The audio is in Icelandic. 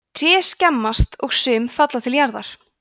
tré skemmast og sum falla til jarðar